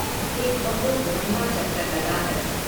एक बहुत लंबा चक्कर लगाकर।